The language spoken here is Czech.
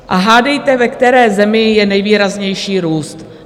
A hádejte, ve které zemi je nejvýraznější růst?